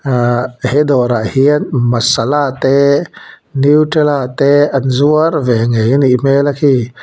aa he dawrah hian masala te nutrela te an zuar ve ngei anih hmela khi.